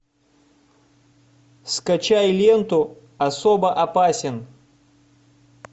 скачай ленту особо опасен